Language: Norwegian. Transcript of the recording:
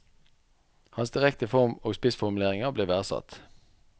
Hans direkte form og spissformuleringer ble verdsatt.